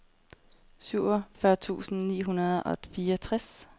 syvogfyrre tusind ni hundrede og fireogtres